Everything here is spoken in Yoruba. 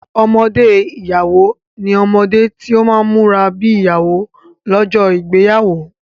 Ọmọdé ìyàwó ní omode tí ọ má múra bi ìyàwó lójó ìgbéyàwó.